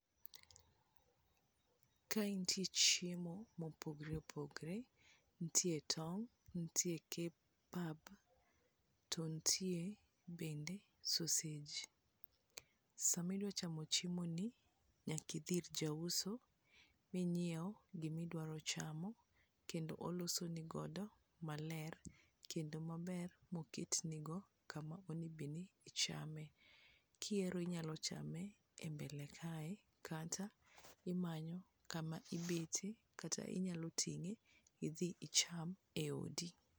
Kae nitie chiemo mopogore opogore nitie tong' nitie Kebab to nitie bende sausage. Sama idwa chamo chiemo ni nyaki dhi ir ja uso ming'iew gimi dwaro chamo kendo oloso ni godo maler kendo maber moket ne go kama one bed ni ichame, kihero inyalo chame e mbele kae kata imanyo kama ibete kata inyalo tinge idhi icham odi.